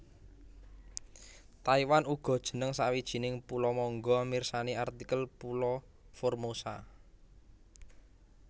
Taiwan uga jeneng sawijining pulo mangga mirsani artikel pulo Formosa